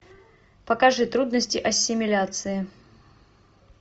покажи трудности ассимиляции